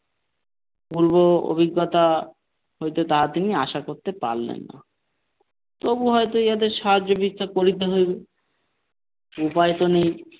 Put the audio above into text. পূর্ব অভিজ্ঞতা হইতে তা তিনি আশা করতে পারলেন না তবুও হয়তো এদের সাহায্য করিতে হইবে উপায় তো নেই ।